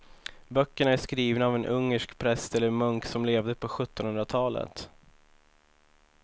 Böckerna är skrivna av en ungersk präst eller munk som levde på sjuttonhundratalet.